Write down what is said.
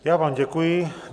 Já vám děkuji.